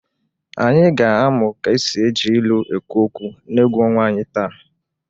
Anyị ga-amụ ka e si eji ilu ekwu okwu n'egwu ọnwa anyị taa.